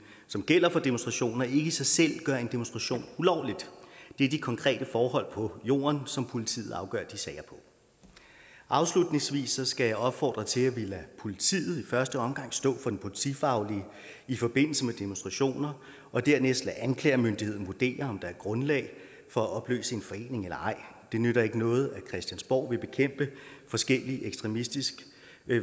som gælder for demonstrationer ikke i sig selv gør en demonstration ulovlig det er de konkrete forhold på jorden som politiet afgør de sager på afslutningsvis skal jeg opfordre til at vi lader politiet i første omgang stå for det politifaglige i forbindelse med demonstrationer og dernæst lader anklagemyndigheden vurdere om der er grundlag for at opløse en forening eller ej det nytter ikke noget at christiansborg vil bekæmpe forskellig ekstremistisk